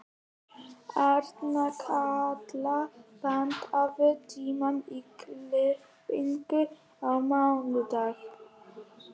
Arnkatla, pantaðu tíma í klippingu á mánudaginn.